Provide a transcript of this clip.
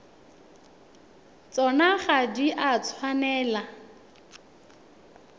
tsona ga di a tshwanela